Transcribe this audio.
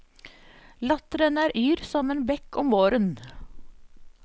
Latteren er yr som en bekk om våren.